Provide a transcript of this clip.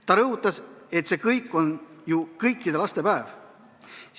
Ta rõhutas, et see on ju kõikide laste päev.